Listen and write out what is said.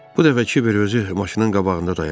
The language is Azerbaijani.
Bu dəfə Kiber özü maşının qabağında dayandı.